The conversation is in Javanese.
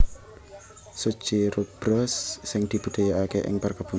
succirubra sing dibudidayaké ing perkebunan